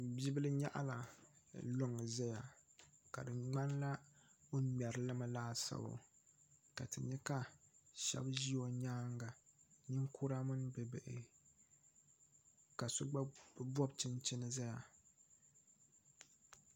Bia bil nyaɣala luŋ ʒɛya ka di ŋmanila o ŋmɛrilimi laasabu ka ti nyɛ ka shab ʒi o nyaanga ninkura mini bia bihi ka so gba gobi chinchin ʒɛya